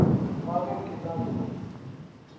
ka ge ke na le